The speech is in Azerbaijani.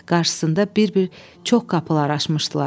Qarşısında bir-bir çox qapılar açmışdılar.